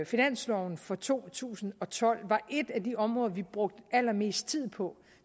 finansloven for to tusind og tolv var et af de områder vi brugte allermest tid på